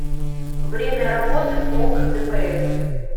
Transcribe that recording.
время работы полк дпс